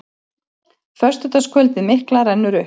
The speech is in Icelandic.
Föstudagskvöldið mikla rennur upp.